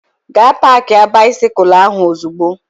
Gaa paakia baisikụl ahụ ozugbo!